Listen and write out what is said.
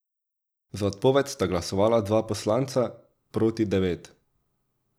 Za odpoved sta glasovala dva poslanca, proti devet.